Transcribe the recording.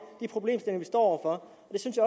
han vi står